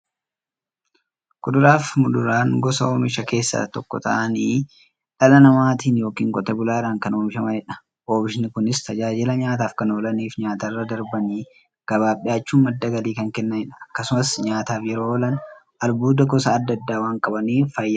Kuduraafi muduraan gosa oomishaa keessaa tokko ta'anii, dhala namaatin yookiin Qotee bulaadhan kan oomishamaniidha. Oomishni Kunis, tajaajila nyaataf kan oolaniifi nyaatarra darbanii gabaaf dhiyaachuun madda galii kan kennaniidha. Akkasumas nyaataf yeroo oolan, albuuda gosa adda addaa waan qabaniif, fayyaaf barbaachisoodha.